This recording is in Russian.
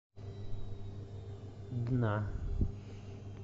дна